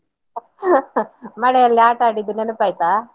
ಮಳೆಯಲ್ಲಿ ಆಟಡಿದ್ದು ನೆನಪಾಯ್ತ?